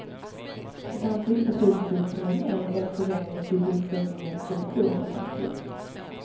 Ett annat mycket betydelsefullt fenomen är den förändring i sysselsättningens struktur som ägt rum.